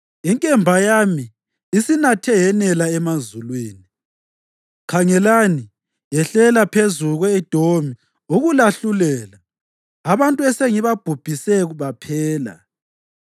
Inkemba yami isinathe yanela emazulwini; khangelani yehlela phezu kwe-Edomi ukulahlulela, abantu esengibabhubhise baphela.